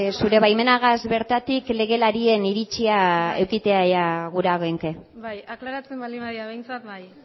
zure baimenagaz bertatik legelarien iritzia edukitzea gura genuke aklaratzen baldin badira behintzat bai